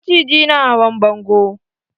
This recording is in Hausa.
Maciji na hawan bango?